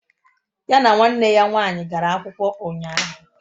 Ya na nwanne ya nwaanyị gara akwụkwọ ụnyahụ